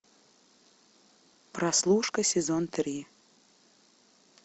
прослушка сезон три